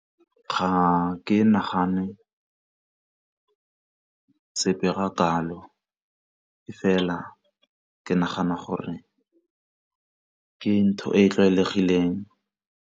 Ga ke nagane sepe ga kalo e fela ke nagana gore ke ntho e e tlwaelegileng.